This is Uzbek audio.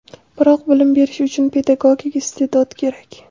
Biroq bilim berish uchun pedagogik iste’dod kerak.